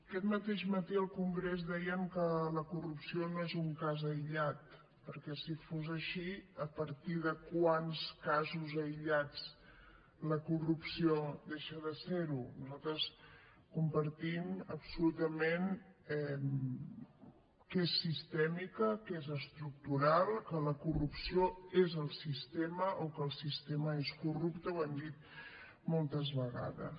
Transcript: aquest mateix matí al congrés deien que la corrupció no és un cas aïllat perquè si fos així a partir de quants casos aïllats la corrupció deixa de ser ho nosaltres compartim absolutament que és sistèmica que és estructural que la corrupció és el sistema o que el sistema és corrupte ho hem dit moltes vegades